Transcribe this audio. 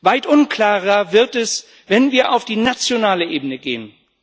Weit unklarer wird es, wenn wir auf die nationale Ebene gehen.